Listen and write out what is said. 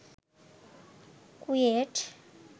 KUET